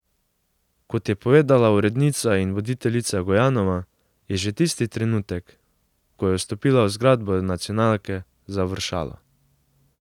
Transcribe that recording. Kot je povedala urednica in voditeljica Gojanova, je že tisti trenutek, ko je vstopila v zgradbo nacionalke, završalo.